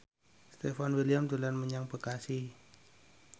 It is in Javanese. Stefan William dolan menyang Bekasi